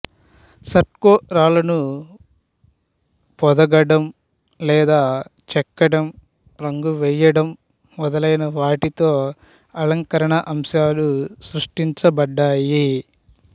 stucco రాళ్ళను పొదగడం లేదా చెక్కడం రంగు వేయడం మొదలైనవాటితో అలంకరణ అంశాలు సృష్టించబడ్డాయి